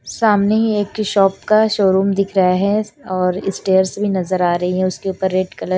सामने ही एक की शॉप शोरूम दिख रहा है और स्टेयर्स भी नजर आ रही उसके ऊपर रेड कलर --